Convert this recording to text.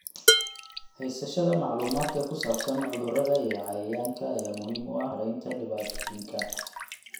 Haysashada macluumaadka ku saabsan cudurrada iyo cayayaanka ayaa muhiim u ah maaraynta dhibaatooyinka.